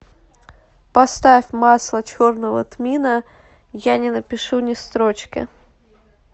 поставь масло черного тмина я не напишу ни строчки